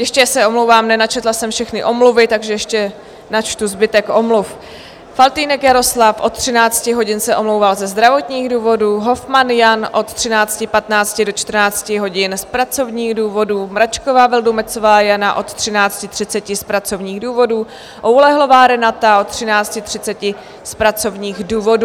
Ještě se omlouvám, nenačetla jsem všechny omluvy, takže ještě načtu zbytek omluv: Faltýnek Jaroslav od 13 hodin se omlouvá ze zdravotních důvodů, Hofmann Jan od 13.15 do 14 hodin z pracovních důvodů, Mračková Vildumetzová Jana od 13.30 z pracovních důvodů, Oulehlová Renata od 13.30 z pracovních důvodů.